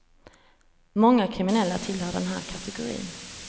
Många kriminella tillhör den här kategorin.